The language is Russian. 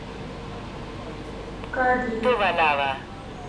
кадрия